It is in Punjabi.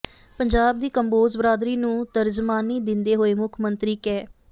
ਪੰਜਾਬ ਦੀ ਕੰਬੋਜ ਬਰਾਦਰੀ ਨੂੰ ਤਰਜਮਾਨੀ ਦਿੰਦੇ ਹੋਏ ਮੁੱਖ ਮੰਤਰੀ ਕੈ